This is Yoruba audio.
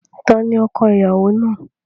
Ta ni ọko-ìyàwó náà?